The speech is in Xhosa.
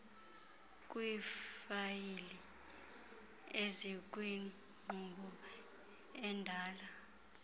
kwiifayile ezikwinkqubo endala